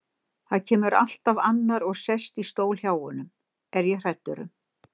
Það kemur alltaf annar og sest í stól hjá honum, er ég hræddur um.